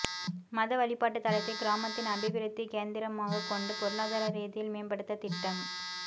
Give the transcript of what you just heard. மத வழிப்பாட்டு தலத்தை கிராமத்தின் அபிவிருத்தி கேந்திரமாக கொண்டு பொருளாதார ரீதியில் மேம்படுத்தத்திட்டம்